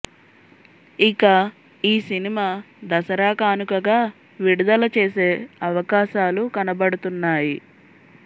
ఇక ఈ సినిమా దసరా కానుకగా విడుదల చేసే అవకాశాలు కనపడుతున్నాయి